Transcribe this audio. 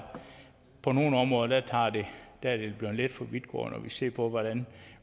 på nogle områder er det blevet lidt for vidtgående når vi ser på hvordan